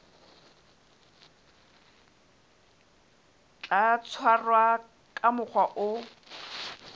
tla tshwarwa ka mokgwa o